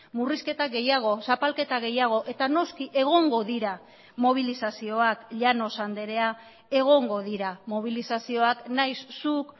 murrizketa gehiago zapalketa gehiago eta noski egongo dira mobilizazioak llanos andrea egongo dira mobilizazioak nahiz zuk